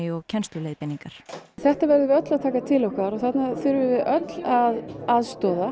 og kennsluleiðbeiningar þetta verðum við öll að taka til okkar og öll að aðstoða